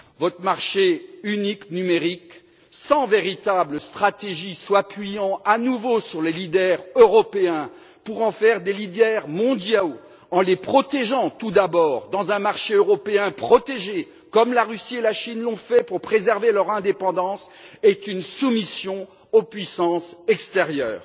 Votre marché unique numérique, sans véritable stratégie, s'appuyant à nouveau sur les leaders européens pour en faire des leaders mondiaux, en les protégeant tout d'abord, dans un marché européen protégé, comme la Russie et la Chine l'ont fait pour préserver leur indépendance, est une soumission aux puissances extérieures.